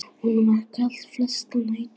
Honum var kalt flestar nætur.